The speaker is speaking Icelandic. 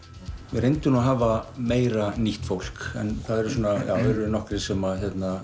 við reyndum að hafa fleira nýtt fólk en það eru nokkrir sem